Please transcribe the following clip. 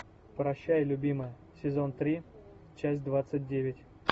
прощай любимая сезон три часть двадцать девять